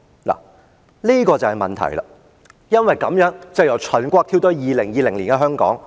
這便是問題了，從這樣的背景，我由秦國再跳回2020年的香港。